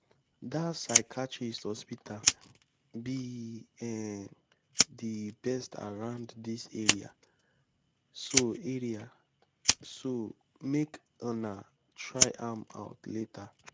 dat psychiatrist hospital be um the best around dis area so area so make una try am out later